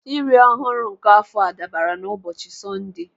Iri ọhụrụ nke afọ a dabara n'ụbọchị Sọnde.